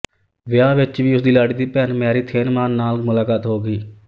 ਵਿਆਹ ਵਿੱਚ ਵੀ ਉਸਦੀ ਲਾੜੀ ਦੀ ਭੈਣ ਮੈਰੀ ਥਿਏਨੀਮਾਨ ਨਾਲ ਮੁਲਾਕਾਤ ਹੋ ਗਈ